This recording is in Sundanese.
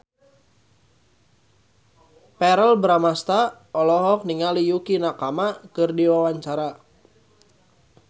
Verrell Bramastra olohok ningali Yukie Nakama keur diwawancara